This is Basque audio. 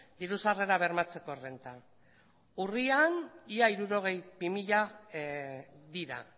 diru sarrera bermatzeko errenta urrian ia hirurogeita bi mila dira